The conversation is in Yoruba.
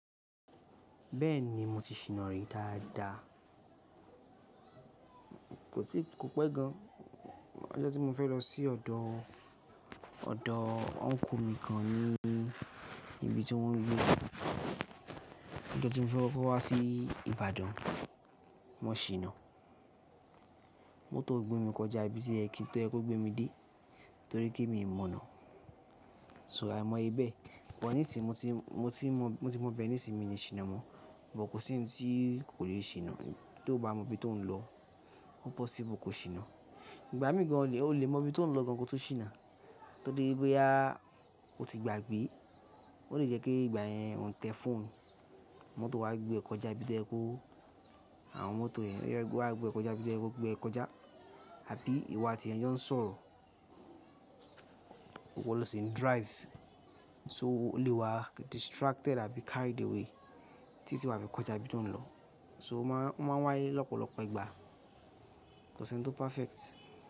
Bẹ́ẹ̀ni mo ti ṣìnà rí dáadáa. Kò pẹ́ gan. Ọjọ́ tí mo fẹ́ lọ sí ọ̀dọ̀ uncle mi kan ní ibi tí wọ́n ń gbé. Ọjọ́ tí mo fẹ́ kó wá sí Ìbàdàn, mo ṣìnà. Mọ́tò gbé mi kọjá ibi tí oye ko gbé mi dé torí pé mi ò mọ̀nà. So àìmọ̀ ibẹ̀. Bọ̀ níṣìí mo ti mọ ibẹ̀ níṣìí mi ní ṣìnà mọ̀. Ṣùgbọ́n kò sí ohun tí kò lè ṣìnà tí o bá mọ ibi tó ń lọ. Ó possible kò ṣìnà. Ǹgbàmì gan o lè mọ ibi tó ń lọ gan kọ́ tó ṣìnà torí boya o ti gbàgbé. Ó lè jẹ́ pé ìgbà yẹn ọ̀ ń tẹ fóònù, mọ́tò wá gbé ọ kọjá ibi tí oyekọ́, àwọn mọ́tò yẹn wá gbé ọ kọjá ibi tí oye kọ́ gbé ọ kọjá. Àbí ìwà tí ẹni tí jó ń sọ̀rọ̀, iwo lo sí ní drive. So o lè wá distracted àbí carried away títí wafi kọjá ibi tí ó ń lọ. So ó máa wáyé lọ́pọ̀lọpọ̀ ìgbà. Kò sí ohun tó perfect.